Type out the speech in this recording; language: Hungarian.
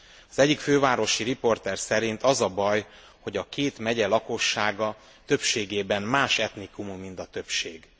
Az egyik fővárosi riporter szerint az a baj, hogy a két megye lakossága többségében más etnikumú, mint a többség.